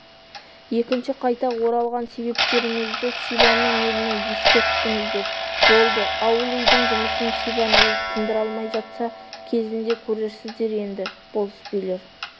екінші қайта оралған себептеріңізді сибанның еліне ескерттіңіздер болды ауыл-үйдің жұмысын сибан өзі тындыра алмай жатса кезінде көрерсіздер енді болыс билер